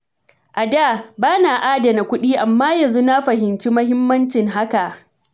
A da, ba na adana kuɗi, amma yanzu na fahimci muhimmancin hakan.